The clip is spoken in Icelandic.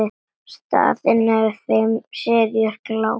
Staðan eftir fimm seríu gláp.